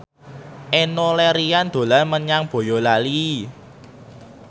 Enno Lerian dolan menyang Boyolali